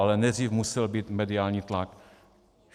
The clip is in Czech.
Ale nejdřív musel být mediální tlak.